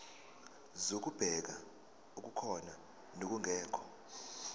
zokubheka okukhona nokungekho